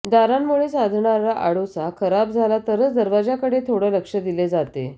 दारांमुळे साधणारा आडोसा खराब झाला तरच दरवाजाकडे थोडं लक्ष दिले जाते